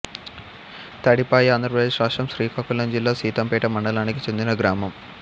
తడిపాయి ఆంధ్రప్రదేశ్ రాష్ట్రం శ్రీకాకుళం జిల్లా సీతంపేట మండలానికి చెందిన గ్రామం